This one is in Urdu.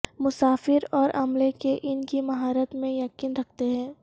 مسافر اور عملے کے ان کی مہارت میں یقین رکھتے ہیں